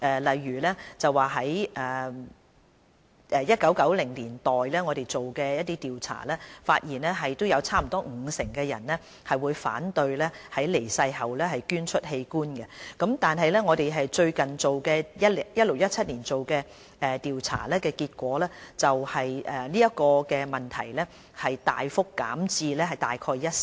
我們在1990年代進行的調查，發現約有五成受訪者反對於離世後捐出器官；但我們最近於 2016-2017 年度進行的調查，結果反映這問題大幅減至約一成。